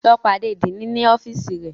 Lọ pàdé Diini ní ọfiisi rẹ!